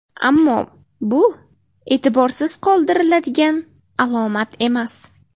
Ammo bu e’tiborsiz qoldiriladigan alomat emas.